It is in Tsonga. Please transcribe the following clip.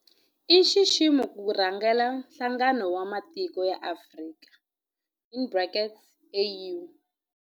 I nxiximo ku rhangela Nhlangano wa Matiko ya Afrika in brackets AU.